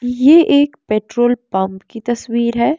ये एक petrol pump की तस्वीर है।